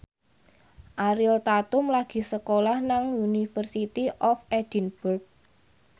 Ariel Tatum lagi sekolah nang University of Edinburgh